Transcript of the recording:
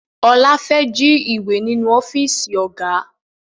Ọlá fẹ́ jí ìwé ninu ọ́fíìsì Ọ̀gá